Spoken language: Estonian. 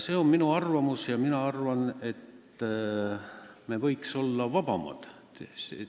See on minu arvamus, mina arvan, et me võiksime olla vabamad.